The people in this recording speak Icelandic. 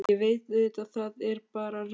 Ég veit auðvitað að það er bara rugl.